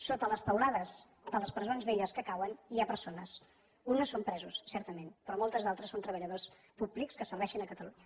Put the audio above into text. sota les teulades de les presons velles que cauen hi ha persones unes són presos certament però moltes d’altres són treballadors públics que serveixen catalunya